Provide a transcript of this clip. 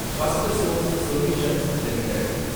Firstsource solutions limited